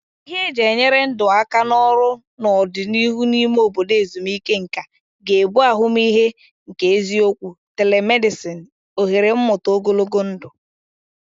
Ihe eji enyere ndụ aka na ọrụ n'ọdịnihu n'ime obodo ezumike nka ga-abụ ahụmịhe nke eziokwu, telemedicine, ohere mmụta ogologo ndụ.